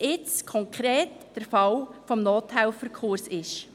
Konkret betrifft das jetzt den Fall des Nothelferkurses.